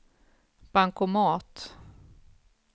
bankomat